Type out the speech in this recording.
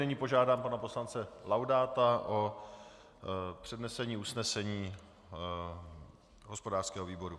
Nyní požádám pana poslance Laudáta o přednesení usnesení hospodářského výboru.